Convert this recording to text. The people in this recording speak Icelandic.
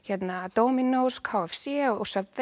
Dominos k f c og